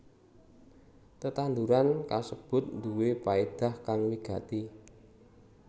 Tetanduran kasebut nduwé paédah kang wigati